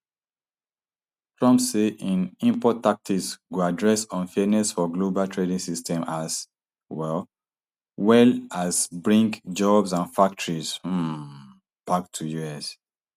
trump say im import taxes go address unfairness for global trading system as um well as bring jobs and factories um back to us